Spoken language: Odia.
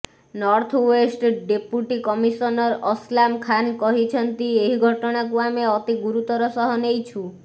northwest deputy commissioner Aslam Khan କହିଛନ୍ତି ଏହି ଘଟଣାକୁ ଆମେ ଅତି ଗୁରୁତର ସହ ନେଇଛୁ